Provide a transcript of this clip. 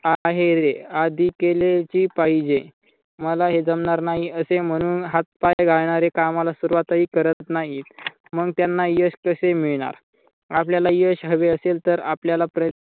आहे रे आधी केलेची पाहिजे. मला हे जमणार नाही असे म्हणून हात पाय गाळणारे कामाला सुरवातही करत नाहीत मग त्यांना यश कसे मिळणार आपल्याला यश हवे असेल तर आपल्याला प्रा